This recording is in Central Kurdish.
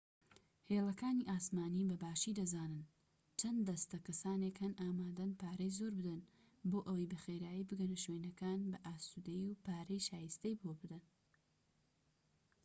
هێڵەکانی ئاسمانی بەباشی دەزانن چەند دەستە کەسانێک هەن ئامادەن پارەی زۆر بدەن بۆ ئەوەی بە خێرایی بگەنە شوێنەکان بە ئاسودەیی و پارەی شایستەی بۆ بدەن